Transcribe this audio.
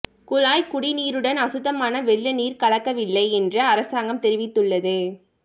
குழாய்க் குடிநீருடன் அசுத்தமான வெள்ள நீர் கலக்கவில்லை என்று அரசாங்கம் தெரிவித்துள்ளது